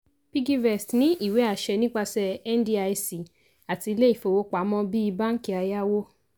piggyvest ní ìwé àṣẹ nípasẹ̀ ndic àti ilé ìfowópamọ́ bíi banki ayáwó.